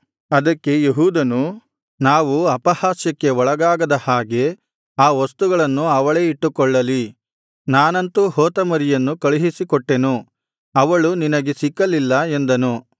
ಅದಕ್ಕೆ ಯೆಹೂದನು ನಾವು ಅಪಹಾಸ್ಯಕ್ಕೆ ಒಳಗಾಗದ ಹಾಗೆ ಆ ವಸ್ತುಗಳನ್ನು ಅವಳೇ ಇಟ್ಟುಕೊಳ್ಳಲಿ ನಾನಂತೂ ಹೋತಮರಿಯನ್ನು ಕಳುಹಿಸಿಕೊಟ್ಟೆನು ಅವಳು ನಿನಗೆ ಸಿಕ್ಕಲಿಲ್ಲ ಎಂದನು